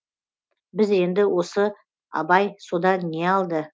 біз енді осы абай содан не алды